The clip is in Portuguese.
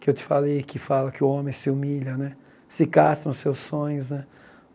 Que eu te falei, que fala que o homem se humilha né, se castra nos seus sonhos né.